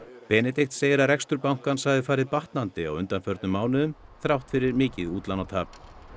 Benedikt segir að rekstur bankans hafi farið batnandi á undanförnum mánuðum þrátt fyrir mikið útlánatap